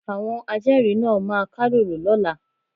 Àwọn ajẹ́rìí náà máa kálòlò lọ́la.